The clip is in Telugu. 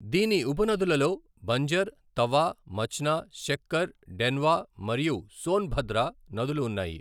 దీని ఉపనదులలో బంజర్, తవా, మచ్నా, శక్కర్, డెన్వా మరియు సోన్భద్ర నదులు ఉన్నాయి.